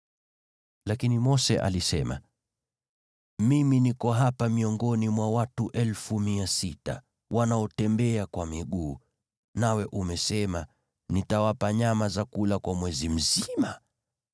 Lakini Mose alisema, “Mimi niko hapa miongoni mwa watu 600,000 wanaotembea kwa miguu, nawe umesema, ‘Nitawapa nyama ya kula kwa mwezi mzima!’